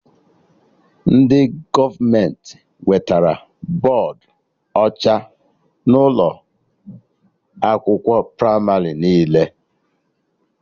Ndị gọọmenti wetara bọdụ ọcha n'ụlọ akwụkwọ pramarị niile